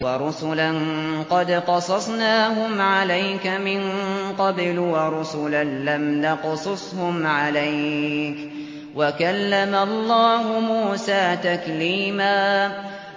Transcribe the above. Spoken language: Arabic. وَرُسُلًا قَدْ قَصَصْنَاهُمْ عَلَيْكَ مِن قَبْلُ وَرُسُلًا لَّمْ نَقْصُصْهُمْ عَلَيْكَ ۚ وَكَلَّمَ اللَّهُ مُوسَىٰ تَكْلِيمًا